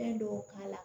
Fɛn dɔw k'a la